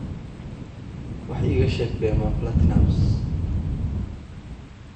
wax iiga sheeg dheeman platnumz